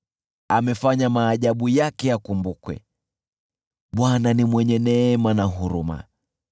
Amefanya maajabu yake yakumbukwe, Bwana ni mwenye neema na huruma.